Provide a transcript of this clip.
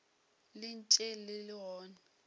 le ntše le le gona